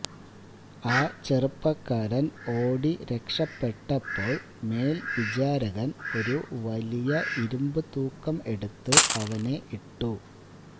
ആ ചെറുപ്പക്കാരൻ ഓടി രക്ഷപെട്ടപ്പോൾ മേൽവിചാരകൻ ഒരു വലിയ ഇരുമ്പ് തൂക്കം എടുത്ത് അവനെ ഇട്ടു